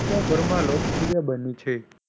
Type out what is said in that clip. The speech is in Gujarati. ભરમાં લોકો ની બનેલી છે.